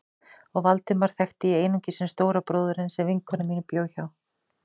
Og Valdemar þekkti ég einungis sem stóra bróðurinn sem vinkona mín bjó hjá.